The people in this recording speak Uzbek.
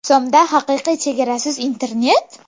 So‘mda haqiqiy chegarasiz internet?